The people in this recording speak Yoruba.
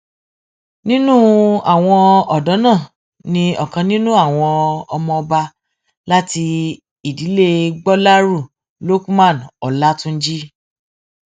nínú àwọn ọdọ náà ní ọkan nínú àwọn ọmọọba láti ìdílé gbolérù lukman ọlátúnjì